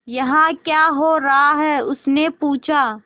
यहाँ क्या हो रहा है उसने पूछा